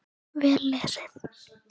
Vel lesið.